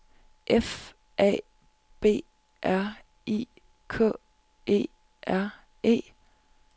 F A B R I K E R E